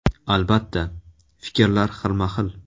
Albatta, fikrlar xilma-xil.